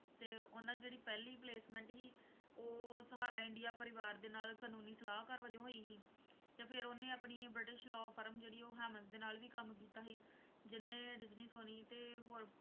ਤੇ ਉਹਨਾਂ ਜਿਹੜੀ ਪਹਿਲੀ placement ਸੀ, ਉਹ ਸਹਾਰਾ ਇੰਡੀਆ ਪਰਿਵਾਰ ਦੇ ਨਾਲ ਕਾਨੂੰਨੀ ਸਲਾਹਕਾਰ ਵਜੋਂ ਹੋਈ ਸੀ ਤੇ ਉਹਨੇ ਆਪਣੀ ਬ੍ਰਿਟਿਸ਼ law firm ਜਿਹੜੀ ਉਹ ਹੈਮੰਡਜ ਦੇ ਨਾਲ ਵੀ ਕੰਮ ਕੀਤਾ ਸੀ, ਜਿਹਨੇ ਡਿਜਨੀ, ਸੋਨੀ ਤੇ ਹੋਰ